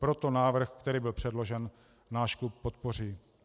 Proto návrh, který byl předložen, náš klub podpoří.